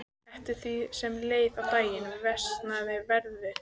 Eftir því sem leið á daginn versnaði veðrið.